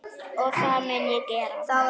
Og það mun ég gera.